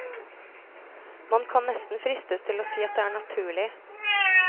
Man kan nesten fristes til å si at det er naturlig.